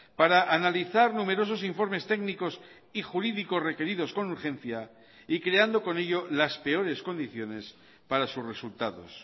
para analizar numerosos informes técnicos y jurídicos requeridos con urgencia y creando con ello las peores condiciones para sus resultados